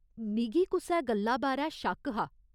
मिगी कुसै गल्ला बारै शक हा